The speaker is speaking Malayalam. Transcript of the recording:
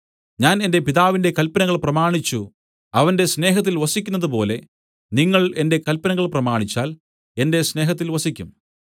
ഞാൻ എന്റെ പിതാവിന്റെ കല്പനകൾ പ്രമാണിച്ചു അവന്റെ സ്നേഹത്തിൽ വസിക്കുന്നതുപോലെ നിങ്ങൾ എന്റെ കല്പനകൾ പ്രമാണിച്ചാൽ എന്റെ സ്നേഹത്തിൽ വസിക്കും